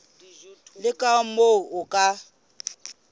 le ka moo o ka